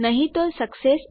નહી તો સક્સેસ